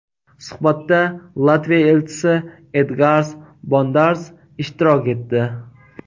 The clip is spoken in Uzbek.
Suhbatda Latviya elchisi Edgars Bondars ishtirok etdi.